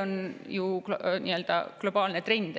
on ju globaalne trend.